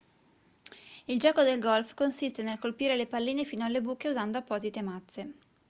il gioco del golf consiste nel colpire le palline fino alle buche usando apposite mazze